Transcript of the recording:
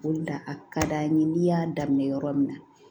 O de la a ka d'an ye n'i y'a daminɛ yɔrɔ min na